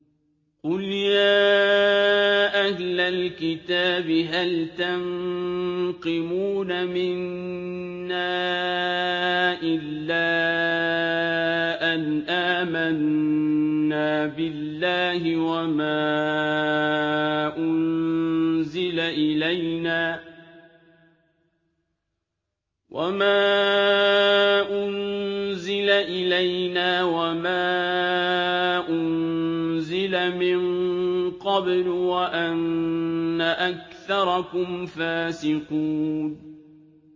قُلْ يَا أَهْلَ الْكِتَابِ هَلْ تَنقِمُونَ مِنَّا إِلَّا أَنْ آمَنَّا بِاللَّهِ وَمَا أُنزِلَ إِلَيْنَا وَمَا أُنزِلَ مِن قَبْلُ وَأَنَّ أَكْثَرَكُمْ فَاسِقُونَ